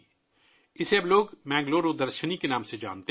اب لوگ اسے بنگلورو درشینی کے نام سے جانتے ہیں